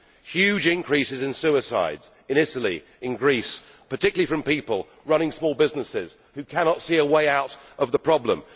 There have been huge increases in suicides in Italy and in Greece, particularly by people running small businesses who cannot see a way out of the problem.